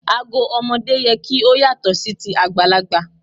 Ago ọmọdé yẹ kí ó yàtọ̀ sí ti àgbàlagbà.